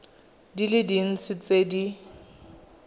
di le dintsi tse di